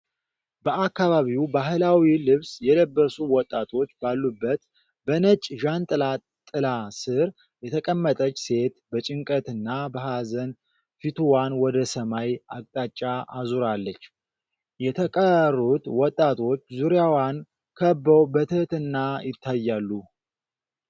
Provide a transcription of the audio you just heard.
በአካባቢው ባሕላዊ ልብስ የለበሱ ወጣቶች ባሉበት፣ በነጭ ዣንጥላ ጥላ ሥር የተቀመጠች ሴት በጭንቀትና በሃዘን ፊትዋን ወደ ሰማይ አቅጣጫ አዙራለች። የተቀሩት ወጣቶች ዙሪያዋን ከበው በትህትና ይታያሉ።